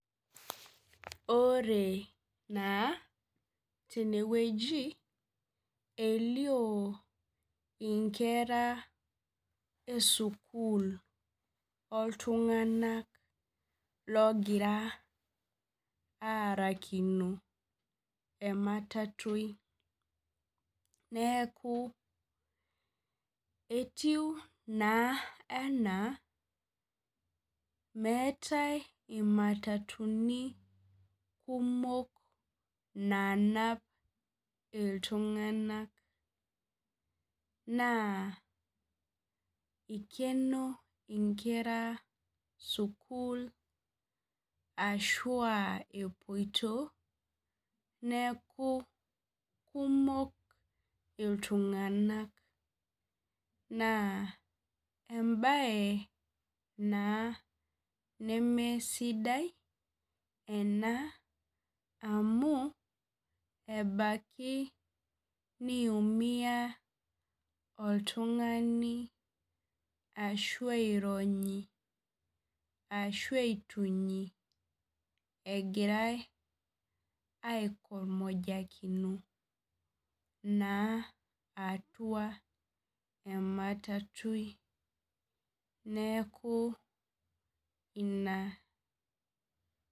Ore na tenewueji elio inkera esukul oltunganak ogira aarakino ematatui neaku etiu ena meetai imwtatuni kumok nanap ltunganak na ikeno nkera sukul ashu aa epoito neaku kumok ltunganak na embae na neesidai ena amu ebaki niumia oltungani ashu aironyi ashu aitunyi egira aitomojakino atua ematatui neaku ina .